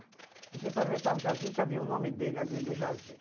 A gente atravessava o Jardim e já viu o nome dele ali no Jardim.